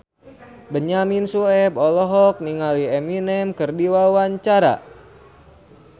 Benyamin Sueb olohok ningali Eminem keur diwawancara